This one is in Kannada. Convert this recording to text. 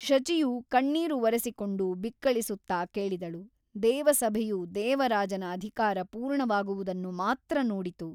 ಶಚಿಯು ಕಣ್ಣೀರು ಒರೆಸಿಕೊಂಡು ಬಿಕ್ಕಳಿಸುತ್ತಾ ಕೇಳಿದಳು ದೇವಸಭೆಯು ದೇವರಾಜನ ಅಧಿಕಾರ ಪೂರ್ಣವಾಗುವುದನ್ನು ಮಾತ್ರ ನೋಡಿತು.